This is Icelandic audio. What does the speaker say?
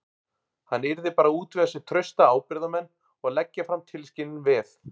Hann yrði bara að útvega sér trausta ábyrgðarmenn og leggja fram tilskilin veð.